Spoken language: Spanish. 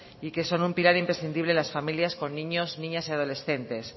y que son un pilar imprescindibles en las familias con niños niñas y adolescentes